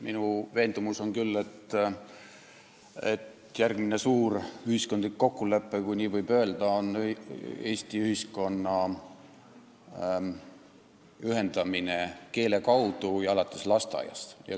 Minu veendumus on küll, et järgmine suur ühiskondlik kokkulepe, kui nii võib öelda, on Eesti ühiskonna ühendamine keele kaudu, ja seda alates lasteaiast.